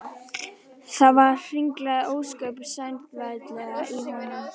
Það hringlaði ósköp vesældarlega í honum.